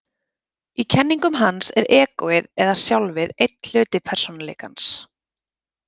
Í kenningum hans er egóið, eða sjálfið, einn hluti persónuleikans.